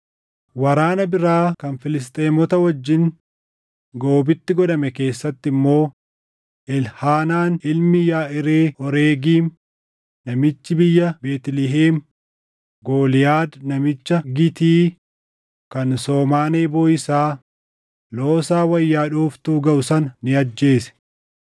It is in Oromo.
Waraana biraa kan Filisxeemota wajjin Goobitti godhame keessatti immoo Elhaanaan ilmi Yaʼiree Oregiim namichi biyya Beetlihem Gooliyaad namicha Gitii kan somaan eeboo isaa loosaa wayya dhooftuu gaʼu sana ni ajjeese.